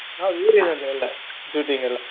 ಹೌದು ಊರಿನಲ್ಲೇ ಎಲ್ಲಾ shooting ಎಲ್ಲಾ.